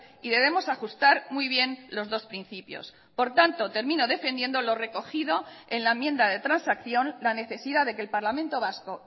y debemos ajustar muy bien los dos principios por tanto termino defendiendo lo recogido en la enmienda de transacción la necesidad de que el parlamento vasco